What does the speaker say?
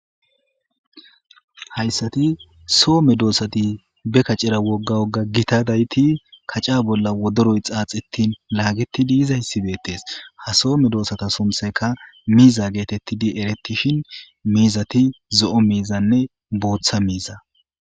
hayssati soo me doossati be kacera wogga wogga gita dayti kaca bolla wodoroy xaaxittin laagettidi iza hyssibetes ha soo me doosata sunthayka miiza geetettidi eretishin miizati zo7o miizanne booththa miiza